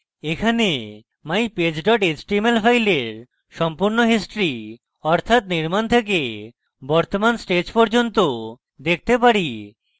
এখানে mypage html file সম্পূর্ণ history অর্থাৎ নির্মাণ থেকে বর্তমান stage পর্যন্ত দেখতে পারি